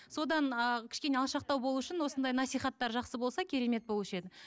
содан ы кішкене алшақтау болу үшін осындай насихаттар жақсы болса керемет болушы еді